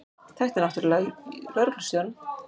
Þekkti náttúrlega lögreglustjórann.